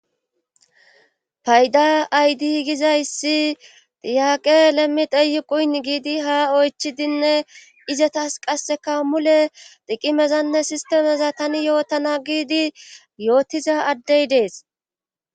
Payda aydi gizayssi diyaqe lemmi deyu quyn giidi ha oychidinne izetas qasseka mule dhiqimezanne sistemeza tani yootana giidi yootiza addey dees.